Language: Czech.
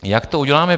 Jak to uděláme?